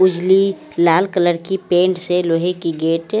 उजली लाल कलर की पेंट से लोहे की गेट --